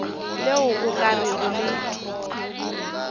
le o ka rego le